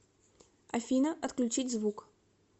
афина отключить звук